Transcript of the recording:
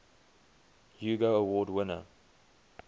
hugo award winner